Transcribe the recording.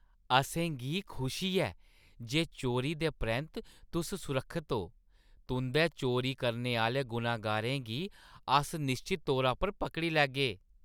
असें गी खुशी ऐ जे चोरी दे परैंत्त तुस सुरक्खत ओ। तुंʼदै चोरी करने आह्‌ले गुनहगारें गी अस निश्चत तौरा पर पकड़ी लैगे।